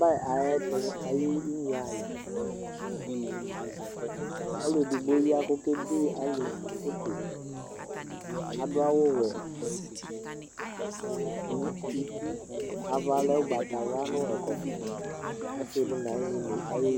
Ɔbɛ ayɛtu ayiʋ inye ayɛƆlu edigbo ya kokede alʋ photoAdʋ awu wɛ nu utiAva lɛ ugbatawla nɛkɔtɔƆsidi nayinyi la ayeeboele